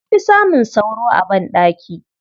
An fi samun sauro a banɗaki.